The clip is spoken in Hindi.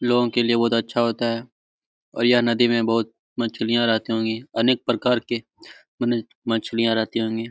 लोगों के लिए बहुत अच्छा होता है और यह नदी में बहुत मछलियां रहती होंगीअनेक प्रकार की मने मछलियां रहती होंगी।